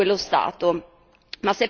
da e verso quello Stato.